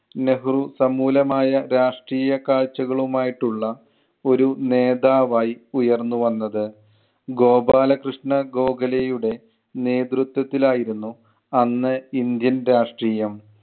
നെഹ്‌റു സമൂലമായ രാഷ്ട്രീയ കാഴ്ച്ചകളുമായിട്ടുള്ള ഒരു നേതാവായി ഉയർന്നു വന്നത്. ഗോപാലകൃഷ്ണ ഗോഖലെയുടെ നേതൃത്വത്തിലായിരുന്നു അന്ന് ഇന്ത്യൻ രാഷ്ട്രീയം.